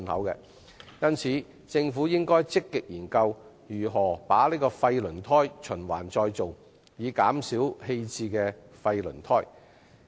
因此，政府應積極研究如何把廢輪胎循環再造，以減少棄置的廢輪胎數量。